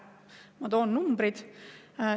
Ma toon numbrid.